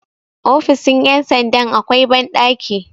ofisn ' yamsanda akwai banɗaki